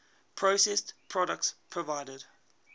processed products provided